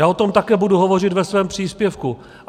Já o tom také budu hovořit ve svém příspěvku.